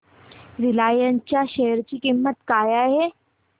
Reliance च्या share ची किंमत काय आहे